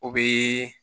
O bɛ